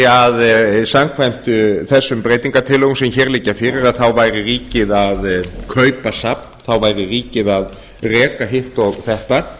að samkvæmt breytingartillögum sem hér liggja fyrir að þá væri ríkið að kaupa safn þá væri ríkið að reka hitt og þetta